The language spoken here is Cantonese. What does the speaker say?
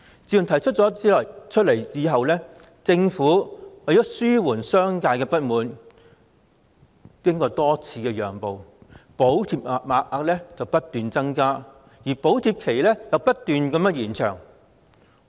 自從提出取消強積金對沖以來，政府為了紓緩商界的不滿而多次讓步，不斷增加補貼額，而補貼期亦不斷延長。